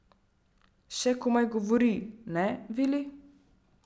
Še govori komaj, ne Vili?